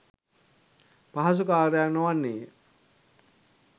පහසු කර්යයක් නොවන්නේය